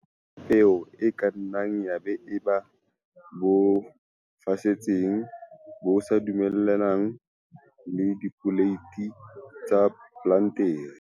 Boholo size ba peo e ka nna ya eba bo fosahetseng, bo sa dumellaneng le dipoleiti tsa plantere.